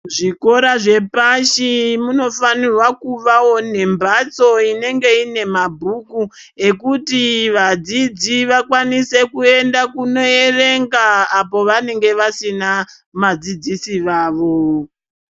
Zvikora zvepashi munofanirwa kuvawo nembaatso inenge ine mabhuku, ekuti vadzidzi vakwanise kuenda kunoerenga, apo vanenge vasina madzidziso avo.